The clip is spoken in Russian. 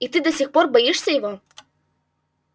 и ты до сих пор боишься его